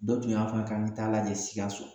Dɔ tun y'a fɔ n yen k'an ka taa lajɛ sikaso